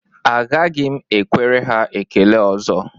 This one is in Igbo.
Agaghị m ekwere ha ekele ọzọ